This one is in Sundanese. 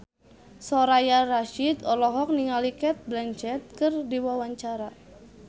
Soraya Rasyid olohok ningali Cate Blanchett keur diwawancara